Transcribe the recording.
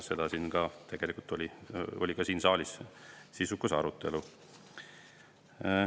Selle üle tegelikult oli ka siin saalis sisukas arutelu.